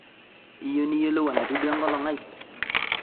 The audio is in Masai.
iyeu niyolou enatiu duo enkolong' ai